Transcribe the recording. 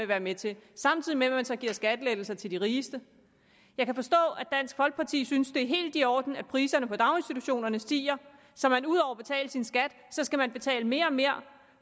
være med til samtidig med at man så giver skattelettelser til de rigeste jeg kan forstå at dansk folkeparti synes at det helt i orden at priserne på daginstitutionerne stiger så man ud over at betale sin skat skal betale mere og mere